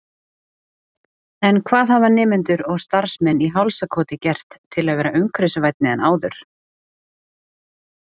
En hvað hafa nemendur og starfsmenn í Hálsakoti gert til að vera umhverfisvænni en áður?